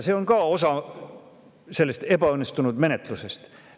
See on osa sellest ebaõnnestunud menetlusest.